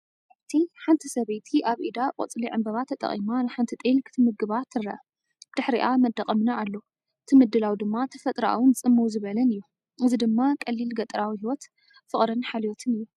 ኣብቲ፡ ሓንቲ ሰበይቲ ኣብ ኢዳ ቆጽሊ ዕምባባ ተጠቒማ ንሓንቲ ጤል ክትምግባ ትርአ። ብድሕሪኣ መንደቕ እምኒ ኣሎ፡ እቲ ምድላው ድማ ተፈጥሮኣውን ጽምው ዝበለን እዩ። እዚ ድማ ቀሊል ገጠራዊ ህይወት፡ ፍቕርን ሓልዮትን እዩ።